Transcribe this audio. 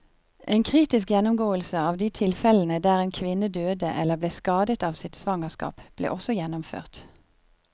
En kritisk gjennomgåelse av de tilfellene der en kvinne døde eller ble skadet av sitt svangerskap, ble også gjennomført.